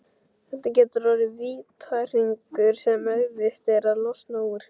Þetta getur orðið vítahringur sem erfitt er að losna úr.